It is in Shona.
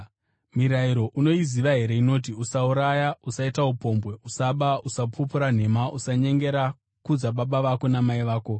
Mirayiro unoiziva here inoti: ‘Usauraya, usaita upombwe, usaba, usapupura nhema, usanyengera, kudza baba vako namai vako.’ ”